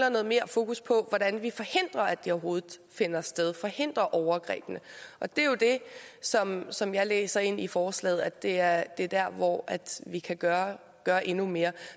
i noget mere fokus på hvordan vi forhindrer at de overhovedet finder sted altså forhindrer overgrebene og det er jo det som som jeg læser ind i forslaget altså at det er er der hvor vi kan gøre gøre endnu mere